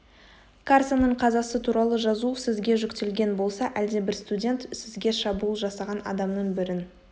карсонның қазасы туралы жазу сізге жүктелген болса әлдебір студент сізге шабуыл жасаған адамның бірін